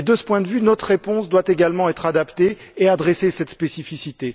De ce point de vue, notre réponse doit également être adaptée à cette spécificité.